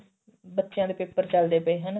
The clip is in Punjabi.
ਬੱਚਿਆਂ ਦੇ paper ਚੱਲਦੇ ਪਏ ਹਨਾ